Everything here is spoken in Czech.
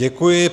Děkuji.